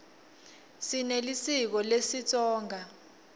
sinelisiko lesitsonga